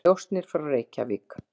og njósnir frá Reykjavík.